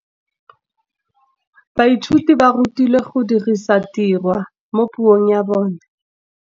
Baithuti ba rutilwe go dirisa tirwa mo puong ya bone.